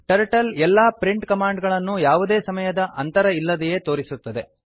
turtle ಎಲ್ಲಾ print command ಗಳನ್ನು ಯಾವುದೇ ಸಮಯದ ಅಂತರ ಇಲ್ಲದೆಯೇ ತೋರಿಸುತ್ತದೆ